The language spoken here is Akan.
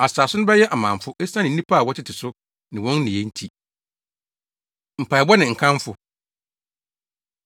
Asase no bɛyɛ amamfo, esiane nnipa a wɔtete so ne wɔn nneyɛe nti. Mpaebɔ Ne Nkamfo